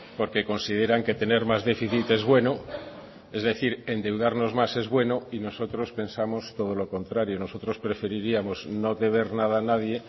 porque consideran que tener más déficit es bueno es decir endeudarnos más es bueno y nosotros pensamos todo lo contrario nosotros preferiríamos no deber nada a nadie